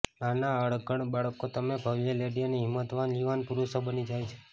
નાના અણઘડ બાળકો તમે ભવ્ય લેડી અને હિંમતવાન યુવાન પુરુષો બની જાય છે